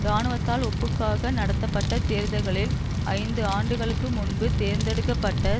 இராணுவத்தால் ஒப்புக்காக நடத்தப்பட்ட தேர்தல்களில் ஐந்து ஆண்டுகளுக்கு முன்பு தேர்ந்தெடுக்க பட்ட